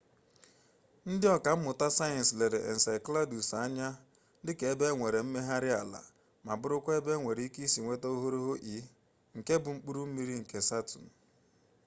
ndị ọkammụta sayensị lere enceladus anya dịka ebe e nwere mmegharị ala ma bụrụkwa ebe enwere ike isi nweta oghoghoro e nke bụ mkpụrụ mmiri nke saturn